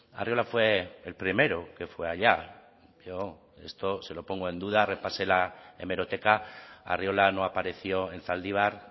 arriola fue el primero que fue allá yo esto se lo pongo en duda repase la hemeroteca arriola no apareció en zaldibar